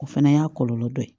O fana y'a kɔlɔlɔ dɔ ye